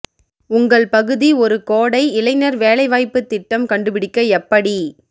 உங்கள் பகுதி ஒரு கோடை இளைஞர் வேலைவாய்ப்பு திட்டம் கண்டுபிடிக்க எப்படி